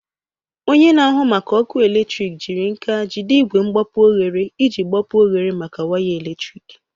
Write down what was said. Onye na-ahụ maka ọkụ eletrik jiri nka jide igwe mgbapu oghere iji gbapuo oghere maka waya eletrik.